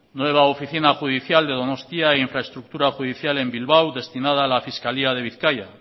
nueva oficina judicial de donostia e infraestructura judicial en bilbao destinada a la fiscalía de bizkaia